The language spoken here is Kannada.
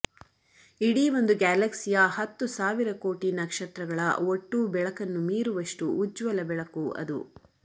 ಇಡೀ ಒಂದು ಗ್ಯಾಲಕ್ಸಿಯ ಹತ್ತು ಸಾವಿರಕೋಟಿ ನಕ್ಷತ್ರಗಳ ಒಟ್ಟೂ ಬೆಳಕನ್ನು ಮೀರುವಷ್ಟು ಉಜ್ವಲ ಬೆಳಕು ಅದು